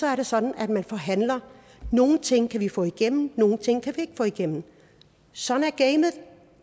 er det sådan at man forhandler nogle ting kan vi få igennem nogle ting kan vi ikke få igennem sådan